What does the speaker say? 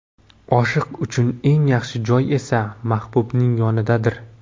Oshiq uchun eng yaxshi joy esa — mahbubning yonidadir.